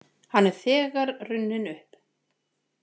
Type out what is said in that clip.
Hann er þegar runninn upp.